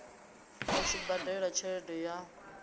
a tshi badela tshelede ya